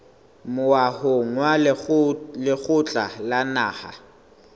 moahong wa lekgotla la naha